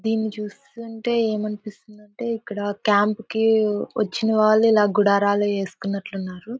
దీన్ని చూస్తుంటే ఏమనిపిస్తుందంటే ఇక్కడ క్యాంప్ కి వచ్చిన వాళ్ళు ఇలా గుడారాలు వేసుకున్నట్లున్నారు.